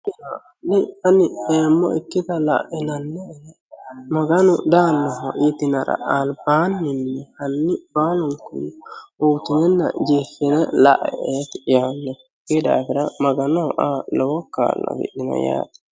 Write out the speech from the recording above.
di ani eemo'ikita la'inanni'ena maganu daanoho yitinara albaanin hanni baalunku uyiitinenna jeeffine la"e"eeti yaannohu kuyi daafira maganoho aa lowo kaa'lo afidhino yaate.